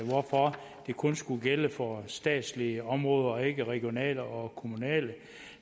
hvorfor det kun skulle gælde for statslige områder og ikke regionale og kommunale